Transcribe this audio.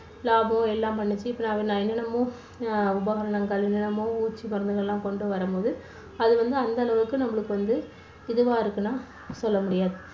லாபம் எல்லாம் பண்ணுச்சு. இப்போ நான் என்னென்னமோ அஹ் உபகரணங்கள் என்னென்னமோ பூச்சி மருந்துகள் எல்லாம் கொண்டு வரும்போது அது வந்து அந்த அளவுக்கு நம்மளுக்கு வந்து இதுவா இருக்குன்னெல்லாம் சொல்ல முடியாது.